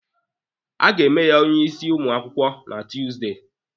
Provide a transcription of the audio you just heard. A ga-eme ya onye isi ụmụ akwụkwọ na Tuusdey.